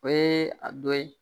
O ye a dɔ ye